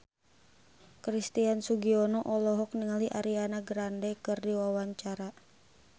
Christian Sugiono olohok ningali Ariana Grande keur diwawancara